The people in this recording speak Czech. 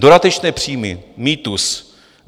Dodatečné příjmy - mýtus.